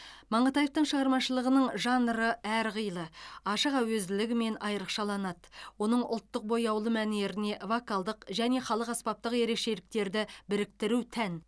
маңғытаевтың шығармашылығының жанры әрқилы ашық әуезділігімен айрықшаланады оның ұлттық бояулы мәнеріне вокалдық және халық аспаптық ерекшеліктерді біріктіру тән